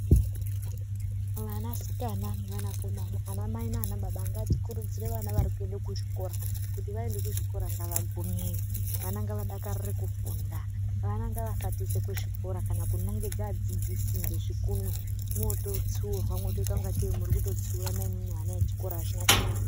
Asikana, akomana, anamai naanababa ngatikurudzire vana kuenda kuchikora vagumey vadakMwoototsiura mwotoimunotsiura vana vechikora. Hazvina kunaka.